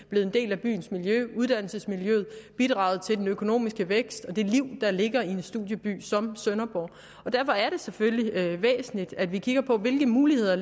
blevet en del af byens miljø af uddannelsesmiljøet har bidraget til den økonomiske vækst og det liv der ligger i en studieby som sønderborg derfor er det selvfølgelig væsentligt at vi kigger på hvilke muligheder